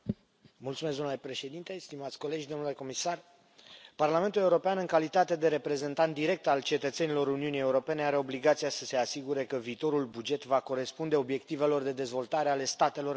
Domnule președinte, stimați colegi, domnule comisar, Parlamentul European, în calitate de reprezentant direct al cetățenilor Uniunii Europene, are obligația să se asigure că viitorul buget va corespunde obiectivelor de dezvoltare ale statelor membre.